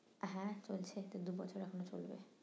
হ্যাঁ চলছে এটা দুবছর এখনো চলবে